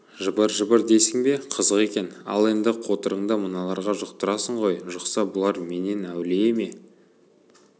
жыбыр-жыбыр дейсің бе қызық екен ал енді қотырыңды мыналарға жұқтырасың ғой жұқса бұлар менен әулие ме